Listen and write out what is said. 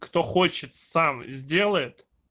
кто хочет сам сделает